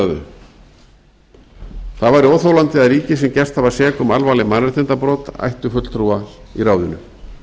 þau það væri óþolandi að ríki sem gerst hafa sek um alvarleg mannréttindabrot ættu fulltrúa í ráðinu